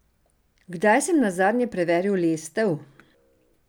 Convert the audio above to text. Kdaj sem nazadnje preveril lestev?